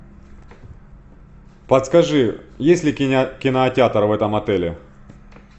подскажи есть ли кинотеатр в этом отеле